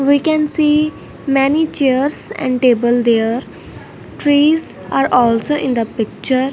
we can see many chairs and table there trees are also in the picture.